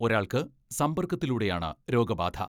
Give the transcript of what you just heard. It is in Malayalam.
ഒരാൾക്ക് സമ്പർക്കത്തിലൂടെയാണ് രോഗബാധ.